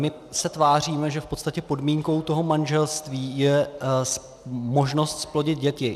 My se tváříme, že v podstatě podmínkou toho manželství je možnost zplodit děti.